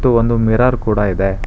ಮತ್ತು ಒಂದು ಮಿರರ್ ಕೂಡ ಇದೆ.